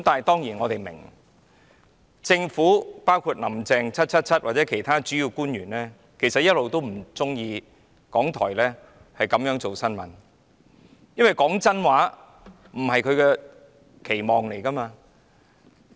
當然，我們也明白，政府、"林鄭 777" 或其他主要官員一直都不喜歡港台報道新聞的方法，因為說真話並非他們的期望。